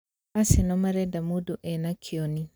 Arsenal marenda mũndũ enda kĩoni